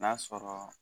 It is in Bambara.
N'a sɔrɔ